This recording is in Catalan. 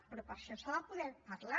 però per això s’ha de poder parlar